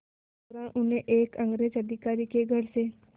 इसी दौरान उन्हें एक अंग्रेज़ अधिकारी के घर से